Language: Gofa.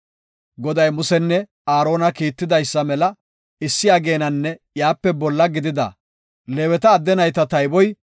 Goday, Musenne Aarona Kiittidaysa mela issi ageenanne iyape bolla gidida Leeweta adde nayta tayboy 22,000.